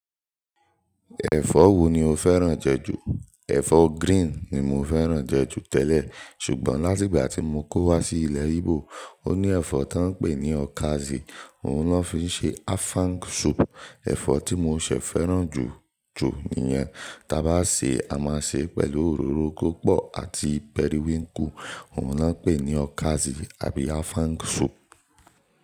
Ẹ̀fọ́ wo ni o fẹ́ràn jẹ́ jù? Ẹ̀fọ́ grín ni mo fẹ́ràn jẹ́ jù tẹ́lẹ̀ ṣùgbọ́n láti ìgbà tí mo kó wá sí ilẹ̀ Ígbò ó ní ẹ̀fọ́ tó ń pè ní ọ̀kàzì, òun na fi ń ṣe áfáng sùú̀pù, ẹ̀fọ́ tí mo ṣẹ̀ fẹ́ràn jù jù nìyẹn tá bá ṣe, a máa ṣe pẹ̀lú òróró púpọ̀ àti pẹríwíǹkù, òun lọ́ pè ní ọ̀kàzì àbí áfáng sùú̀pù.